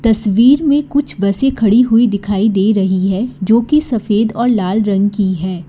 तस्वीर में कुछ बसें खड़ी हुई दिखाई दे रही है जोकि सफेद और लाल रंग की है।